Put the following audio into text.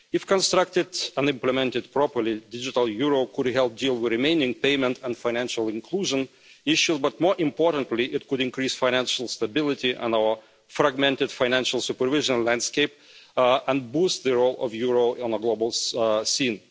If constructed and implemented properly, a digital euro could help deal with the remaining payment and financial inclusion issue, but more importantly, it could increase financial stability on our fragmented financial supervision landscape and boost the role of the euro on the global scene.